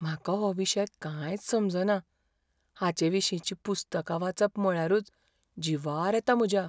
म्हाका हो विशय कांयच समजना, हाचेविशींचीं पुस्तकां वाचप म्हळ्यारूच जीवार येता म्हज्या.